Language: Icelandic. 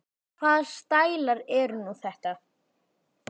Hvaða stælar eru nú þetta?